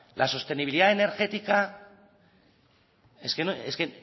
la sostenibilidad energética es que es que